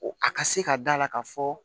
A ka se ka da la ka fɔ